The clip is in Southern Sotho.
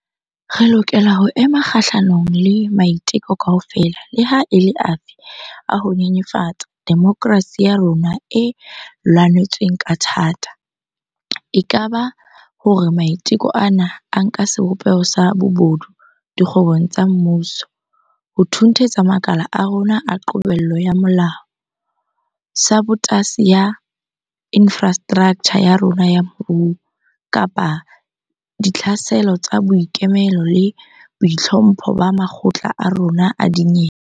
Re lokela ho ema kgahlanong le maiteko kaofela leha e le afe a ho nyenyefatsa demokerasi ya rona e lwanetsweng ka thata - e ka ba hore maiteko ana a nka sebopeho sa bobodu dikgwebong tsa mmuso, ho thunthetsa makala a rona a qobello ya molao, sabotasi ya infrastraktjha ya rona ya moruo, kapa ditlhaselo tsa boikemelo le boitlhompho ba makgotla a rona a dinyewe.